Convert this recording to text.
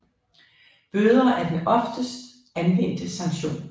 Bøder er den oftest anvendte sanktion